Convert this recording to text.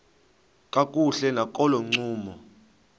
kakuhle nakolo ncumo